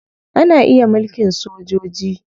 Ana iya mulkin sojoji.